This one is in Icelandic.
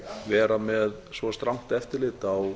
vera með svo strangt eftirlit á